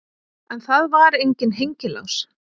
En það var enginn hengilás.